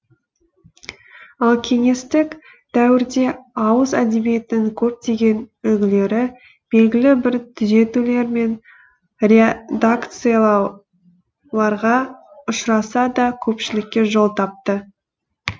ал кеңестік дәуірде ауыз әдебиетінің көптеген үлгілері белгілі бір түзетулер мен редакциялауларға ұшыраса да көпшілікке жол тапты